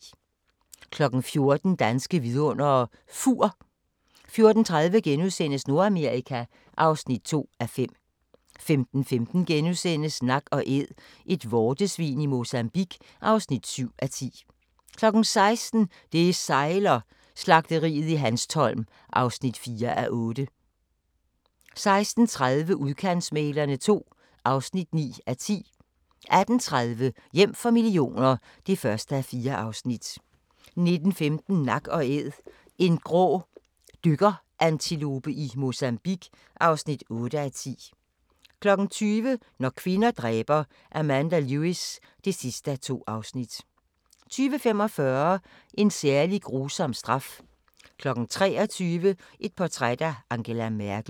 14:00: Danske Vidundere: Fur 14:30: Nordamerika (2:5)* 15:15: Nak & Æd – et vortesvin i Mozambique (7:10)* 16:00: Det sejler - Slagteriet i Hanstholm (4:8) 16:30: Udkantsmæglerne II (9:10) 18:30: Hjem for millioner (1:4) 19:15: Nak & Æd – en grå dykkerantilope i Mozambique (8:10) 20:00: Når kvinder dræber – Amanda Lewis (2:2) 20:45: En særlig grusom straf 23:00: Portræt af Angela Merkel